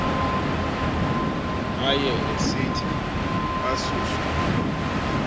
aye esithi asuswe